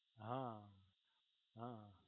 હા હા